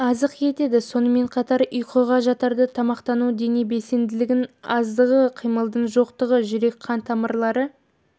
азық етеді сонымен қатар ұйқыға жатарда тамақтану дене белсенділігінің аздығы қимылдың жоқтығы жүрек қан тамырлары